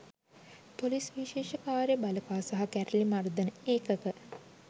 police විශේෂ කාර්ය බළකා සහ කැරළි මර්දන ඒකක